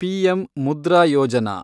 PM Mudra Yojana